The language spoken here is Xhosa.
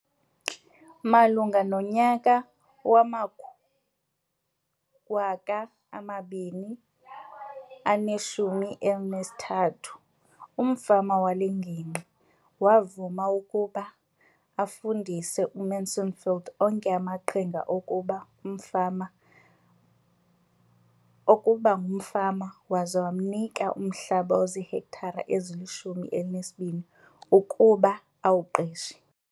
Malunga nonyaka wama-2013, umfama wale ngingqi wavuma ukuba afundise uMansfield onke amaqhinga okuba ngumfama waza wamnika umhlaba ozihektare ezili-12 ukuba awuqeshe.